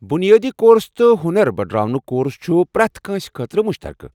بُنیٲدی کورس تہٕ ہونر بڈراونُك کورس چھ پرٛٮ۪تھ کٲنٛسہ خٲطرٕ مُشترقہٕ ۔